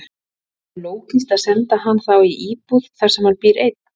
Er lógískt að senda hann þá í íbúð þar sem hann býr einn?